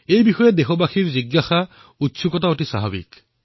এই বিষয়ে দেশবাসীৰ জিজ্ঞাসা উৎসুকতা অত্যন্ত স্বাভাৱিক